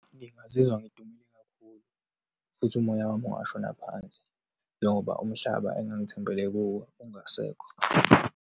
Ngingazizwa ngidumele kakhulu futhi umoya wami ungashona phansi, njengoba umhlaba engangithembele kuwo ungasekho.